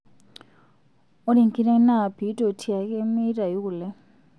ore enkiteng naa pitotiake metayu kulee